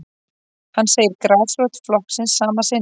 Hann segir grasrót flokksins sama sinnis